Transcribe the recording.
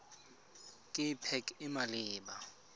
ke pac e e maleba